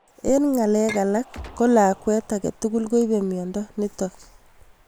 Eng' ngalek alak ko lakwa agetugul koipe miondo nitok